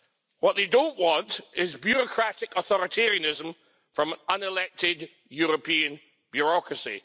What they don't want is bureaucratic authoritarianism from unelected European bureaucracy.